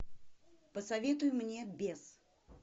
посоветуй мне бес